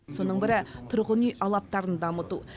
соның бірі тұрғын үй алаптарын дамыту